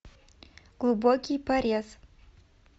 глубокий порез